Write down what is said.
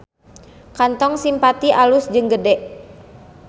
Kantor Simpati alus jeung gede